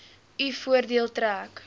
u voordeel trek